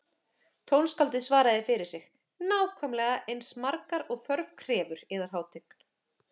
Tónskáldið svaraði fyrir sig: Nákvæmlega eins margar og þörf krefur, yðar hátign